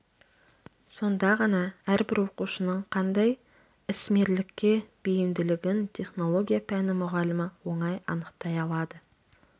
сонда ғана әрбір оқушының қандай ісмерлікке бейімділігін технология пәні мұғалімі оңай анықтай алады